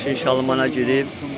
Maşın şalmana girib.